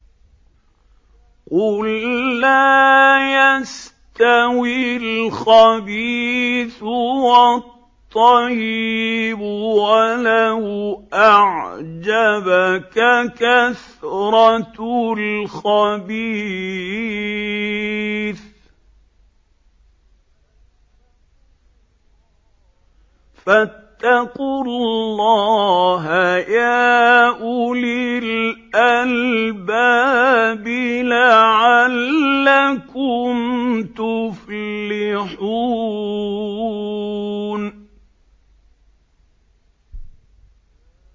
قُل لَّا يَسْتَوِي الْخَبِيثُ وَالطَّيِّبُ وَلَوْ أَعْجَبَكَ كَثْرَةُ الْخَبِيثِ ۚ فَاتَّقُوا اللَّهَ يَا أُولِي الْأَلْبَابِ لَعَلَّكُمْ تُفْلِحُونَ